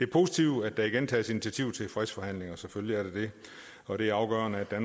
positivt at der igen tages initiativ til fredsforhandlinger og det er afgørende at